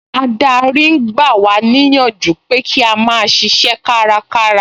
Adarí ń gba wá níyànjú pé kí a máa ṣiṣẹ́ kárakára